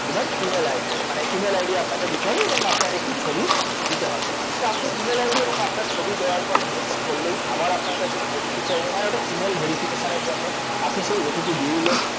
এবার email ID মানে email ID আপনাকে দিতে হবে এবং আপনার একটি ছবি দিতে হবে তো আপনি আপনার email ID এবং আপনার ছবি দেওয়ার পরে next করলেই আবার আপনার কাছে OTP চাইবে মানে ওটা email verification এর জন্য আপনি সেই OTP দিয়ে দিলেন